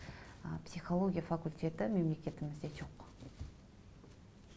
ы психология факультеті мемлекетімізде жоқ